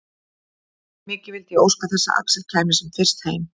Mikið vildi ég óska þess að Axel kæmi sem fyrst heim.